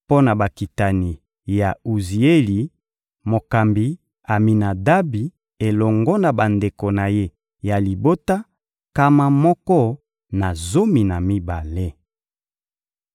mpo na bakitani ya Uzieli: mokambi Aminadabi elongo na bandeko na ye ya libota, nkama moko na zomi na mibale.